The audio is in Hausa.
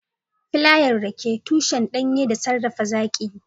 Filayen rake, tushen danye da sarrafa zaƙi